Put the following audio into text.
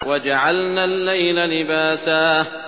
وَجَعَلْنَا اللَّيْلَ لِبَاسًا